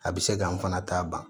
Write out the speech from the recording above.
A bɛ se k'an fana ta ban